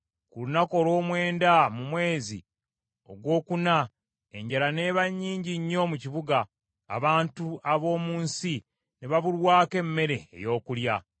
Ku lunaku olw’omwenda mu mwezi ogwokuna enjala n’eba nnyingi nnyo mu kibuga, abantu ab’omu nsi ne babulwako n’emmere ey’okulya.